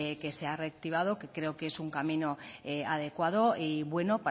que se ha reactivado que creo que es un camino adecuado y bueno